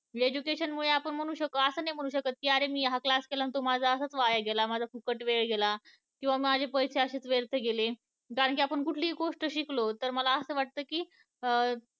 Education मुळे आपण असं नाही म्हणू शकत कि आरे आपण हा class केला तो माझा असाच वाया गेला, माझा फुकट वेळ गेला, किंवा माझे पैसे असेच waste गेले, त्यातून आपण कुठली गोष्ट शिकलो तर मला असं वाटत कि